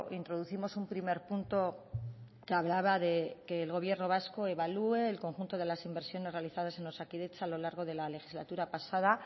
introducimos un primer punto que hablaba de que el gobierno vasco evalúe el conjunto de las inversiones realizadas en osakidetza a lo largo de la legislatura pasada